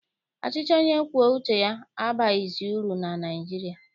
Ọchịchị onye kwue uche abaghịzi uru na Naịjirịa.